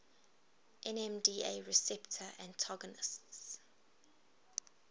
nmda receptor antagonists